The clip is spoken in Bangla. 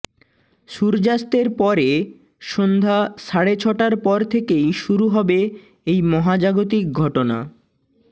সূর্যাস্তের পরে সন্ধ্যা সাড়ে ছটার পর থেকেই শুরু হবে এই মহাজাগতিক ঘটনা